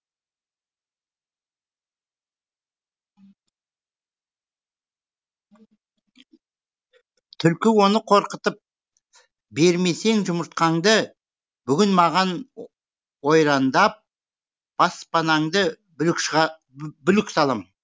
түлкі оны қорқытып бермесең жұмыртқаңды бүгін маған ойрандап баспанаңды бүлік салам